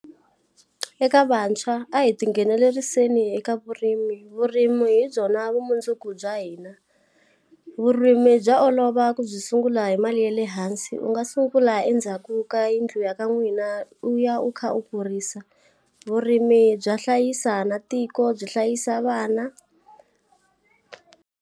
Eka vantshwa a hi ti ngheneleriseni eka vurimi, vurimi hi byona vumundzuku bya hina. Vurimi bya olova ku byi sungula hi mali ya le hansi u nga sungula endzhaku ka yindlu ya ka n'wina u ya u kha u kurisa. Vurimi bya hlayisa na tiko byi hlayisa vana.